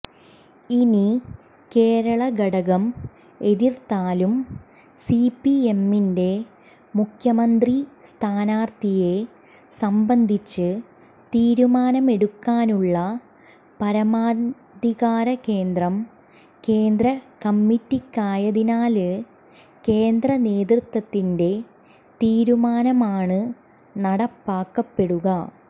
ഇനി കേരള ഘടകം എതിര്ത്താലും സിപിഎമ്മിന്റെ മുഖ്യമന്ത്രി സ്ഥാനാര്ത്ഥിയെ സംബന്ധിച്ച് തീരുമാനമെടുക്കാനുള്ള പരമാധികാരകേന്ദ്രം കേന്ദ്രകമ്മിറ്റിക്കായതിനാല് കേന്ദ്ര നേതൃത്വത്തിന്റെ തീരുമാനമാണ് നടപ്പാക്കപ്പെടുക